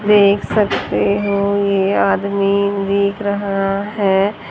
देख सकते हो ये आदमी देख रहा है।